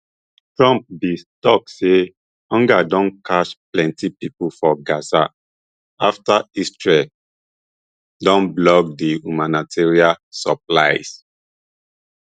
trump bin tok say hunger don catch plenti pipo for gaza afta israel don block di humanitarian supplies